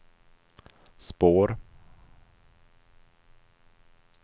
spår